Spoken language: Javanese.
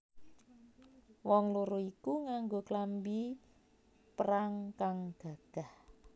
Wong loro iku nganggo klambi perang kang gagah